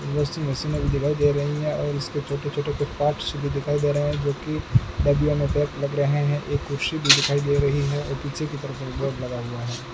Washing machine दिखाई दे रही हैं और उसके छोटे-छोटे कुछ पार्ट्स भी दिखाई दे रहे हैं जो की बाडियों मे पैक्ड लग रहे हैं एक कुर्सी भी दिखाई दे रही है और पीछे की तरफ एक बोर्ड लगा हुआ है।